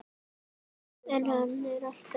En hann er alltaf til.